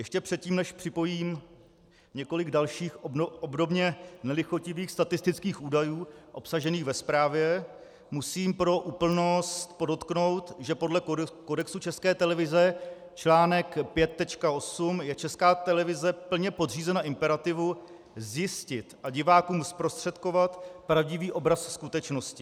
Ještě předtím, než připojím několik dalších, obdobně nelichotivých statistických údajů obsažených ve zprávě, musím pro úplnost podotknout, že podle kodexu České televize článek 5.8 je Česká televize plně podřízena imperativu zjistit a divákům zprostředkovat pravdivý obraz skutečnosti.